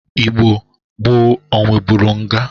Igbo gboo o nwebụrụ nga?